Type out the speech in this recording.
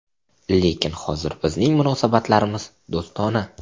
Lekin hozir bizning munosabatlarimiz do‘stona.